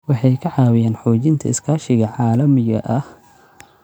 Waxay ka caawiyaan xoojinta iskaashiga caalamiga ah.